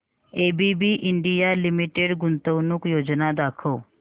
ABB India limited गुंतवणूक योजना दाखव